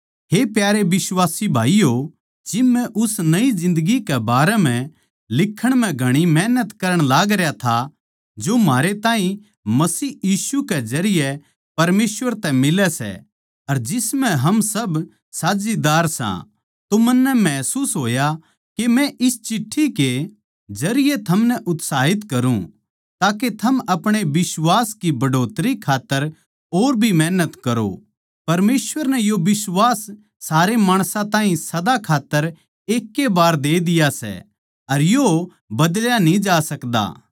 हे प्यारे बिश्वासी भाईयो जिब मै उस नई जिन्दगी के बारें म्ह लिखण म्ह घणी मैहनत कर करण लागरया था जो म्हारे ताहीं मसीह यीशु के जरिये परमेसवर तै मिलै सै अर जिस म्ह हम सब साझीदार सां तो मन्नै महसूस होया के मै इस चिट्ठी के जरिये थमनै उत्साहित करुँ ताके थम आपणे बिश्वास की बढ़ोतरी खात्तर और भी मेहनत करो परमेसवर नै यो बिश्वास सारे माणसां ताहीं सदा खात्तर एकै ए बार दे दिया सै अर यो बदल्या न्ही जा सकता